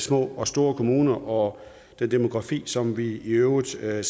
små og store kommuner og den demografi som vi i øvrigt ser